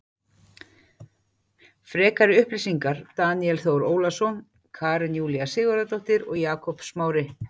Frekari upplýsingar Daníel Þór Ólason Karen Júlía Sigurðardóttir og Jakob Smári.